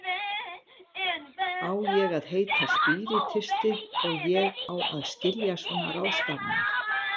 Ég á að heita spíritisti og ég á að skilja svona ráðstafanir.